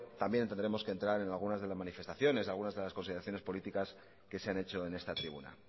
también tendremos que entrar en alguna de las manifestaciones algunas consideraciones políticas que se han hecho en esta tribuna